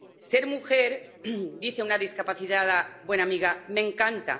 Ser mujer —dice una discapacitada y buena amiga— me encanta